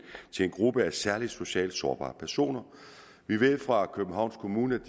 gruppe af særlig socialt sårbare personer vi ved fra københavns kommune